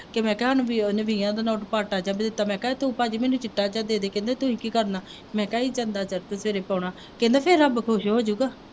ਕਿ ਮੈਂ ਕਿਹਾ ਹੁਣ ਬਈ ਨਾ ਉਹਨੇ ਵੀਹਾਂ ਦਾ ਨੋਟ ਪਾਟਾ ਜਿਹਾ ਦਿੱਤਾ, ਮੈਂ ਕਿਹਾ ਇਹ ਤੂੰ ਭਾਅ ਜੀ ਮੈਨੂੰ ਚਿੱਟਾ ਜਿਹਾ ਦੇ ਦੇ, ਕਹਿੰਦੇ ਤੁਸੀਂ ਕੀ ਕਰਨਾ, ਮੈਂ ਕਿਹਾ ਜੀ ਤੇਰੇ ਪਾਉਣਾ, ਕਹਿੰਦਾ ਫੇਰ ਰੱਬ ਖੁਸ਼ ਹੋ ਜਾਊਗਾ